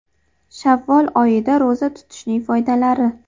Shavvol oyida ro‘za tutishning foydalari.